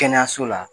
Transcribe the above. Kɛnɛyaso la